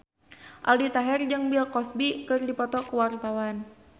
Aldi Taher jeung Bill Cosby keur dipoto ku wartawan